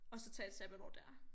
At så tage et sabbatår dér